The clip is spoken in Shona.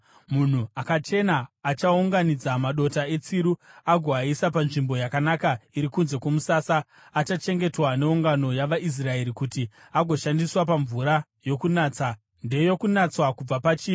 “Munhu akachena achaunganidza madota etsiru agoaisa panzvimbo yakanaka iri kunze kwomusasa. Achachengetwa neungano yavaIsraeri kuti agoshandiswa pamvura yokunatsa; ndeyokunatswa kubva pachivi.